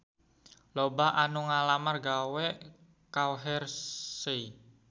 Loba anu ngalamar gawe ka Hershey